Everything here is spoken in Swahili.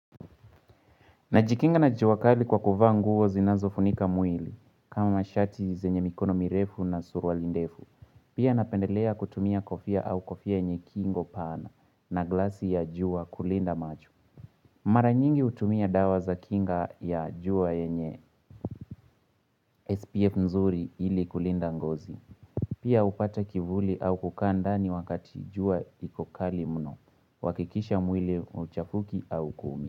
Najikinga na juakali kwa kuvaa nguo zinazo funika mwili kama mashati zenye mikono mirefu na surwa lindefu. Pia napendelea kutumia kofia au kofia yenye kingo pana na glasi ya jua kulinda macho. Mara nyingi hutumia dawa za kinga ya jua eynye SPF nzuri ili kulinda ngozi. Pia hupata kivuli au kukaanda ni wakati jua ikokali mno uhakikisha mwili huchafuki au kumi.